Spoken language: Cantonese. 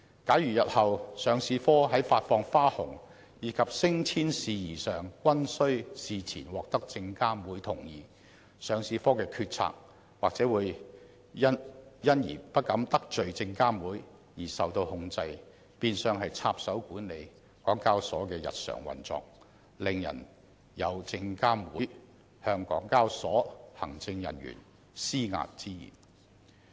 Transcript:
假如日後上市部在發放花紅及升遷事宜上均須事前獲得證監會同意，上市部的決策或會因為不敢得罪證監會而受到控制，變相讓證監會插手管理港交所的日常運作，令人感到證監會有向港交所行政人員施壓之嫌。